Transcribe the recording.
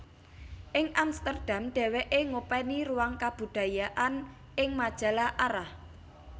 Ing Amsterdam dheweke ngopeni ruang kabudayaan ing majalah Arah